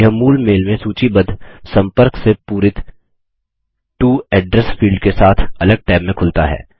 यह मूल मेल में सूचीबद्ध संपर्क से पूरित टो एड्रैस फील्ड के साथ अलग टैब में खुलता है